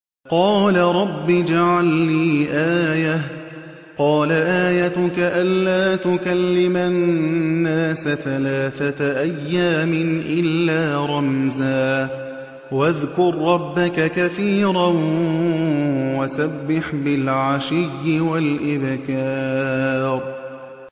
قَالَ رَبِّ اجْعَل لِّي آيَةً ۖ قَالَ آيَتُكَ أَلَّا تُكَلِّمَ النَّاسَ ثَلَاثَةَ أَيَّامٍ إِلَّا رَمْزًا ۗ وَاذْكُر رَّبَّكَ كَثِيرًا وَسَبِّحْ بِالْعَشِيِّ وَالْإِبْكَارِ